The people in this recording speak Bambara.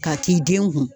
Ka k'i den kun